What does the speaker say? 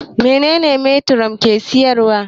Meye metiron ke siyar wa?